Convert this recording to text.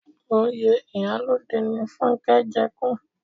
Oyè ìyálode ni Fúnnkẹ́ jẹ kú